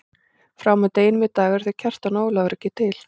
Frá og með deginum í dag eru þeir Kjartan og Ólafur ekki til.